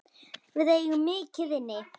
Við eigum mikið inni.